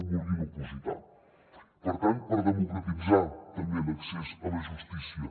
vulguin opositar per tant per democratitzar també l’accés a la justícia